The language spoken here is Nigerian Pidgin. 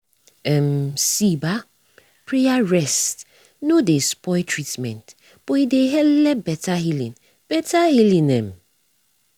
um see bah praya rests nor dey spoil treatment but e dey helep beta healing. beta healing. um